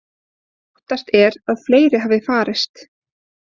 Óttast er að fleiri hafi farist